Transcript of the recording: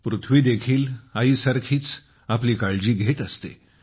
पृथ्वी देखील आईसारखीच आपली काळजी घेत असते